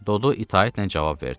Dodu itaətlə cavab verdi.